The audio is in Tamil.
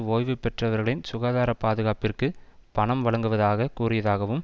ஓய்வு பெற்றவர்களின் சுகாதார பாதுகாப்பிற்கு பணம் வழங்குவதாக கூறியதாகவும்